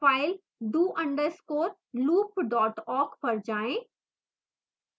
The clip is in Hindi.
file do underscore loop dot awk पर जाएं